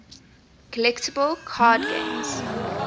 collectible card games